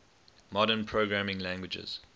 modern programming languages